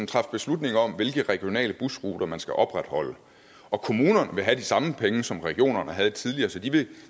træffe beslutning om hvilke regionale busruter man skal opretholde og kommunerne vil have de samme penge som regionerne havde tidligere så de vil